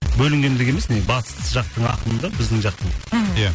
бөлінгендігі емес батыс жақтың ақыны да біздің жақтың мхм иә